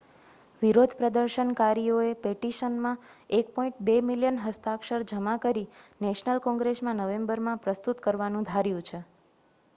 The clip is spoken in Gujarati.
વિરોધ પ્રદર્શનકારીયોએ પેટિશનમાં1.2 મિલિયન હસ્તાક્ષર જમા કરી નેશનલ કોંગ્રેસમાં નવેમ્બરમાં પ્રસ્તુત કરવાનુ ધાર્યુ છે